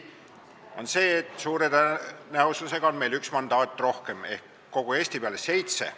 Nimelt see, et suure tõenäosusega on meil üks mandaat rohkem ehk kogu Eesti peale seitse.